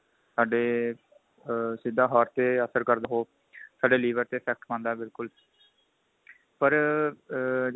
ਸਾਡੇ ਸਿਧਾ heart ਤੇ ਅਸਰ ਕਰਦਾ ਉਹ ਸਾਡੇ liver ਤੇ effect ਪਾਂਦਾ ਬਿਲਕੁਲ ਪਰ ਆ ਜੇ